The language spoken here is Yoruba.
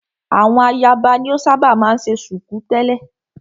Àwọn ayaba ni o ṣábà máa ń ṣe ṣùkú tẹ̀lẹ́.